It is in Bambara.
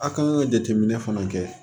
A' k'an ka jateminɛ fana kɛ